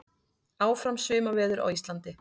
Áfram sumarveður á Íslandi